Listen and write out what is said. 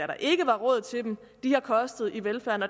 der ikke var råd til dem har kostet i velfærden